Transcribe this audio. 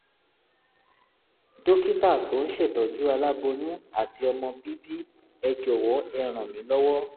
dókítà tó ń ṣètọ́jú aláboyún àti ọmọ bíbí ẹ jọ̀wọ́ ẹ ràn mí lọ́wọ́